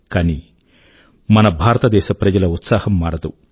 కానీ మన భారతదేశ ప్రజల ఉత్సాహం మారదు